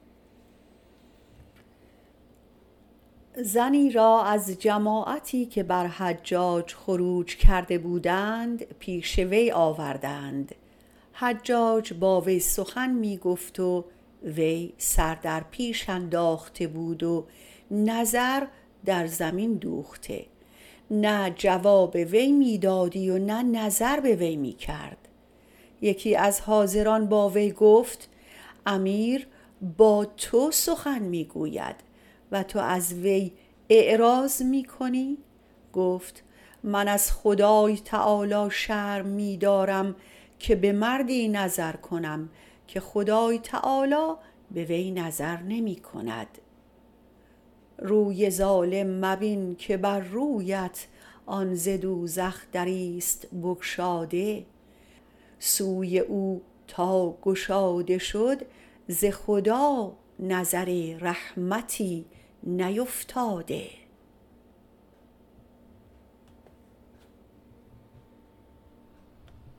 زنی را از جماعتی که بر حجاج خروج کرده بودند پیش وی آوردند حجاج با وی سخن می گفت و وی سر در پیش انداخته بود و نظر بر زمین دوخته نه جواب وی می داد و نه نظر به وی می کرد یکی از حاضران با وی گفت امیر سخن می گوید و تو از وی اعراض می کنی گفت من از خدای تعالی شرم می دارم به مردی نظر کنم که خدای تعالی به وی نظر نمی کند روی ظالم مبین که بر رویت آن ز دوزخ دریست بگشاده سوی او تا گشاده شد ز خدای نظر رحمتی نیفتاده